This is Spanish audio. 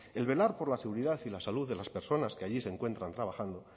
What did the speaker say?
el velar por la seguridad y la salud de las personas que allí se encuentran trabajando